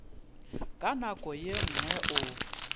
ka nako ye nngwe o